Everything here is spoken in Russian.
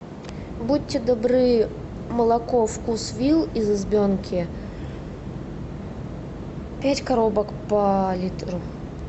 будьте добры молоко вкус вилл из избенки пять коробок по литру